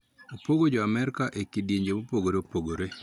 Opog jo Amerka e kidienje mopogore opogore